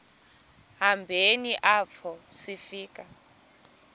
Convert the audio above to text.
hambeni apho sifika